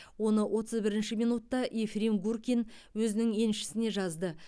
оны отыз бірінші минутта ефрим гуркин өзінің еншісіне жазды